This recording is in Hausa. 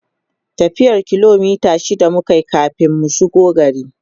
tafiyan kilomita shida mukayi kamin mu shigo gari